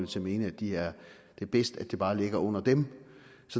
til at mene at det er bedst at det bare ligger under dem